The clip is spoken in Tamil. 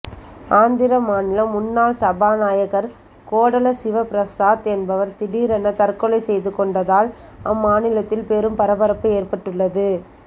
ஆந்திர மாநில முன்னாள் சபாநாயகர் கோடல சிவபிரசாத் என்பவர் திடீரென தற்கொலை செய்து கொண்டதால் அம்மாநிலத்தில் பெரும் பரபரப்பு ஏற்பட்டுள்ளது